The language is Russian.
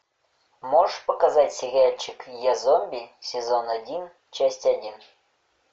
можешь показать сериальчик я зомби сезон один часть один